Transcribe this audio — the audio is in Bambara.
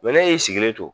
ne y'i sigilen to